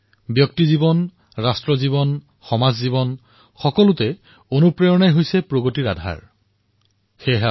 ব্যক্তিৰ জীৱনেই হওক ৰাষ্ট্ৰৰ জীৱন হওক সমাজৰ জীৱন হওক প্ৰেৰণা প্ৰগতিৰ আধাৰস্বৰূপ